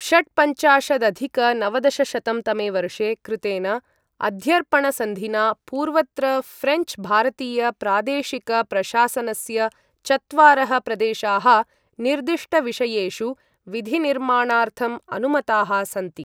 षट्पञ्चाशदधिक नवदशशतं तमे वर्षे कृतेन अध्यर्पणसन्धिना पूर्वत्र ऴ्रेञ्च् भारतीय प्रादेशिक प्रशासनस्य चत्वारः प्रदेशाः निर्दिष्टविषयेषु विधिनिर्माणार्थम् अनुमताः सन्ति।